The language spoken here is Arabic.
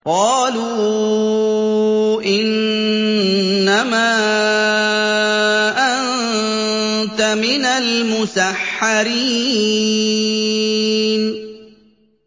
قَالُوا إِنَّمَا أَنتَ مِنَ الْمُسَحَّرِينَ